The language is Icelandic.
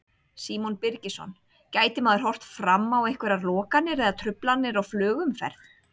Símon Birgisson: Gæti maður horft fram á einhverjar lokanir eða truflanir á flugumferð?